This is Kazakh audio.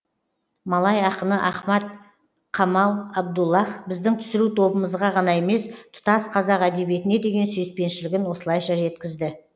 малай ақыны ахмад қамал абдуллах біздің түсіру тобымызға ғана емес тұтас қазақ әдебиетіне деген сүйіспеншілігін осылайша жеткізді